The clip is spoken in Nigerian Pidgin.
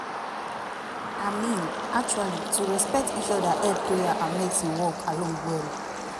i mean actually to respect each oda help prayer and medicine work along well